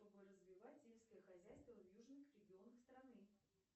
чтобы развивать сельское хозяйство в южных регионах страны